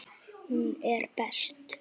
Hún er best.